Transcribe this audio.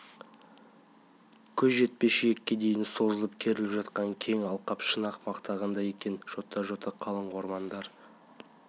көз жетпес жиекке дейін созылып-керіліп жатқан кең алқап шын-ақ мақтағандай екен жота-жота қалың ормандар